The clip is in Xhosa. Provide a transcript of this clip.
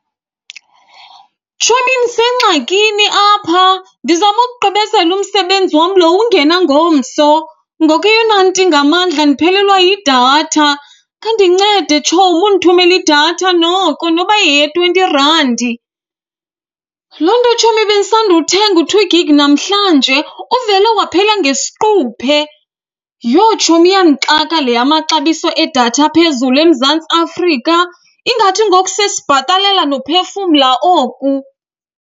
Tshomi, ndisengxakini apha. Ndizama ukugqibezela umsebenzi wam loo ungena ngomso. Ngoku eyona nto ingamandla ndiphelelwa yidatha. Khandincede, tshomi, undithumele idatha noko noba yeye-twenty randi. Loo nto, tshomi, bendisandothenga u-two gigi namhlanje uvele waphela ngesiquphe. Yho, tshomi, iyandixaka le yamaxabiso edatha aphezulu eMzantsi Afrika, ingathi ngoku sesibhatalela nophefumla oku.